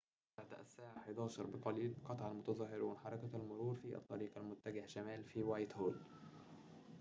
بعد الساعة 11:00 بقليل قطع المتظاهرون حركة المرور في الطريق المتجه شمالاً في وايتهول